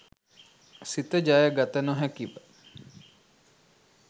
සිත ජය ගත නොහැකිව